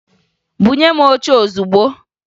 Bunye m oche ozugbo!